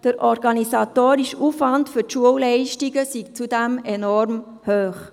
Der organisatorische Aufwand für die Schulleitungen sei zudem enorm hoch.